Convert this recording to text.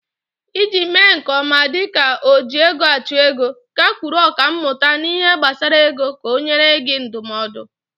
Iji mee nke ọma dịka ojiegoachụego, gakwuru ọkàmmụta n'ihe gbasara ego ka ọ nyee gị ndụmọdụ.